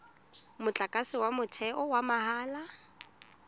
motlakase wa motheo wa mahala